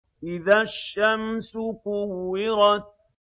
إِذَا الشَّمْسُ كُوِّرَتْ